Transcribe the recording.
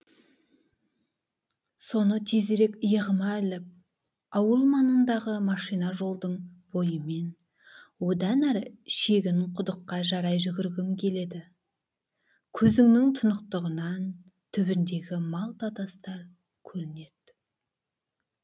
соны тезірек иығыма іліп ауыл маңындағы машина жолдың бойымен одан әрі шегін құдыққа қарай жүгіргім келеді көзіңнің тұнықтығынан түбіндегі малта тастар көрінет